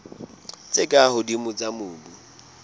tse ka hodimo tsa mobu